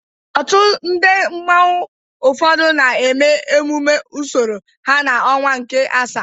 Òtù ndị mmanwu ụfọdụ na-eme emume usoro ha n'ọnwa nke asaa.